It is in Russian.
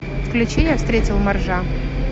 включи я встретил моржа